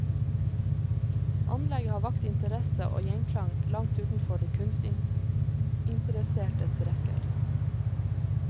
Anlegget har vakt interesse og gjenklang langt utenfor de kunstinteressertes rekker.